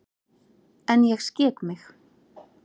En ég skek mig.